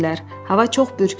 Hava çox bürkülü idi.